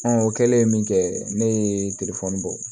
o kɛlen min kɛ ne ye bɔ